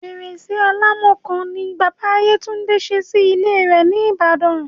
Fẹrẹ́ṣẹ́ Àlámakọ̀ ni Bàbá Yéwándé sẹ́ sí ilẹ̀ rẹ̀ ní Ìbàdàn.